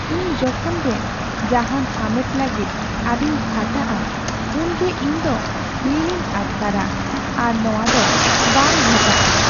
ᱤᱧ ᱡᱚᱠᱷᱚᱱ ᱜᱮ ᱡᱟᱦᱟᱱ ᱦᱟᱢᱮᱴ ᱞᱟᱹᱜᱤᱫ ᱟᱹᱰᱤᱧ ᱠᱷᱟᱴᱟᱜᱼᱟ ᱩᱱᱜᱮ ᱤᱧ ᱫᱚ ᱞᱤᱞᱤᱧ ᱟᱴᱠᱟᱨᱟ, ᱟᱨ ᱱᱚᱶᱟ ᱫᱚ ᱵᱟᱝ ᱜᱷᱚᱴᱟᱜᱼᱟ ᱾